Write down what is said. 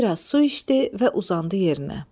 Bir az su içdi və uzandı yerinə.